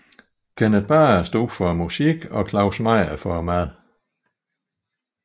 Kenneth Bager stod for musikken og Claus Meyer for maden